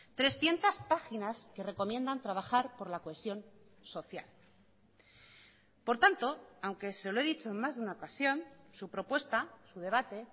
trescientos páginas que recomiendan trabajar por la cohesión social por tanto aunque se lo he dicho en más de una ocasión su propuesta su debate